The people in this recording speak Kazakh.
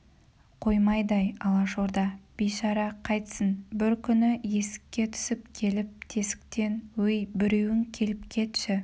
қоймайды ай алашорда бейшара қайтсін бір күні есікке түсіп келіп тесіктен өй біреуің келіп кетші